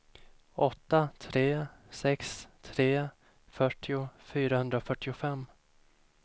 åtta tre sex tre fyrtio fyrahundrafyrtiofem